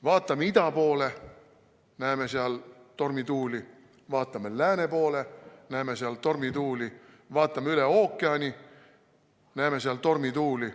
Vaatame ida poole, näeme tormituuli, vaatame lääne poole, näeme tormituuli, vaatame üle ookeani, näeme tormituuli.